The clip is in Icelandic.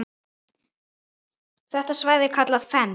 Þetta svæði er kallað Fens.